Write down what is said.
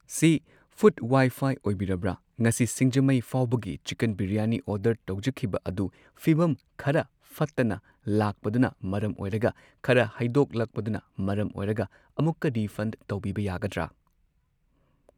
ꯁꯤ food Wi-Fi ꯑꯣꯏꯕꯤꯔꯕ꯭ꯔ ꯉꯁꯤ ꯁꯤꯡꯖꯃꯩ ꯐꯥꯎꯕꯒꯤ ꯆꯤꯀꯟ ꯕꯤꯔꯌꯥꯅꯤ ꯑꯣꯔꯗꯔ ꯇꯧꯖꯈꯤꯕ ꯑꯗꯨ ꯐꯤꯕꯝ ꯈꯔ ꯐꯠꯇꯅ ꯂꯛꯄꯗꯨꯅ ꯃꯔꯝ ꯑꯣꯏꯔꯒ ꯈꯔ ꯍꯩꯗꯣꯛ ꯂꯥꯛꯄꯗꯨꯅ ꯃꯔꯝ ꯑꯣꯏꯔꯒ ꯑꯃꯨꯛꯀ ꯔꯤꯐꯟ ꯇꯧꯕꯤꯕ ꯌꯥꯒꯗ꯭ꯔ